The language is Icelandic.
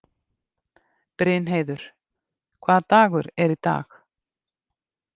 Brynheiður, hvaða dagur er í dag?